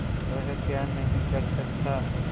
वह क्या नहीं कर सकता